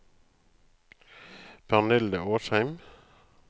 Pernille Åsheim